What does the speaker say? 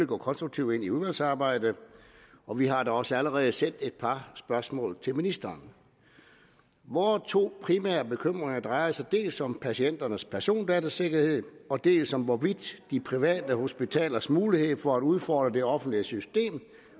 gå konstruktivt ind i udvalgsarbejdet og vi har da også allerede sendt et par spørgsmål til ministeren vore to primære bekymringer drejer sig dels om patienternes persondatasikkerhed dels om hvorvidt de private hospitalers mulighed for at udfordre det offentlige system